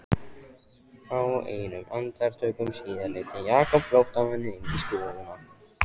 Fáeinum andartökum síðar leiddi Jakob flóttamanninn inn í stofuna.